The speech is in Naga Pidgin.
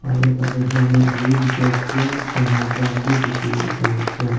aro tade helmet huilebi dikhi ase taikhan drum b dikhi bole pare ase.